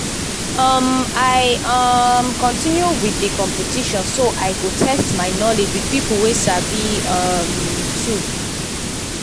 um i um continue with the competition so i go test my knowledge with people wey sabi um too.